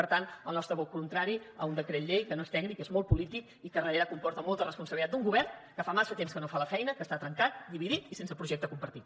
per tant el nostre vot contrari a un decret llei que no és tècnic és molt polític i que darrere comporta molta responsabilitat d’un govern que fa massa temps que no fa la feina que està trencat dividit i sense projecte compartit